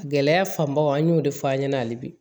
Gɛlɛya fanbaw an y'o de fɔ an ɲɛna hali bi